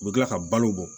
U bɛ kila ka balo bɔ